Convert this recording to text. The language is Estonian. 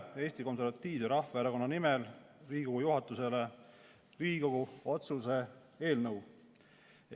Annan Eesti Konservatiivse Rahvaerakonna nimel Riigikogu juhatusele üle Riigikogu otsuse eelnõu.